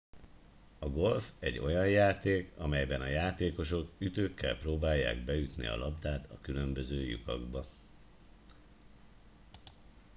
a golf egy olyan játék amelyben a játékosok ütőkkel próbálják beütni a labdát a különböző lyukakba